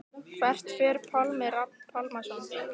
Hvert fer Pálmi Rafn Pálmason?